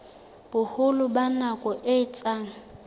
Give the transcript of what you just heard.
boholo ba nako e etsang